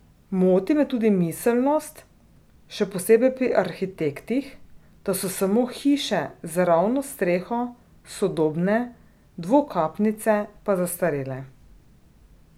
Moti me tudi miselnost, še posebej pri arhitektih, da so samo hiše z ravno streho sodobne, dvokapnice pa zastarele.